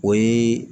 O ye